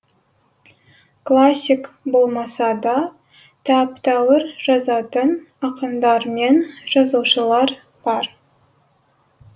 классик болмаса да тәп тәуір жазатын ақындар мен жазушылар бар